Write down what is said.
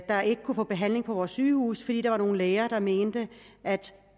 der ikke kunne få behandling på vores sygehuse fordi der var nogle læger der mente at